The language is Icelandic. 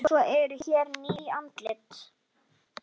Svo eru hér ný andlit.